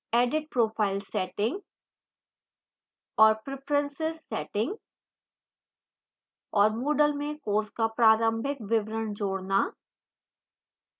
edit profile settings और